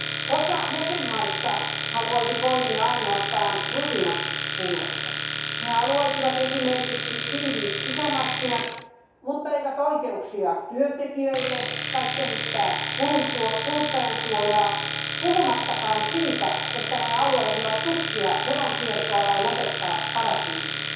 Osa jäsenvaltioista haluaisi poimia ainoastaan rusinat pullasta. He haluaisivat esimerkiksi tiiviit sisämarkkinat mutta eivät oikeuksia työntekijöille tai kehittää kuluttajansuojaa, puhumattakaan siitä, että ne haluaisivat tukkia veronkierron tai lopettaa paratiisit.